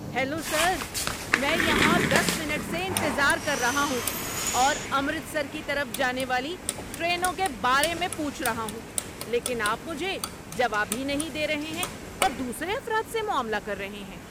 Hello sir! میں یہاں دس منٹ سے انتظار کر رہا ہوں اور امرتسر کی طرف جانے والی ٹرینوں کے بارے میں پوچھ رہا ہوں لیکن آپ مجھے جواب ہی نہیں دے رہے ہیں اور دوسرے افراد سے معاملہ کر رہے ہیں۔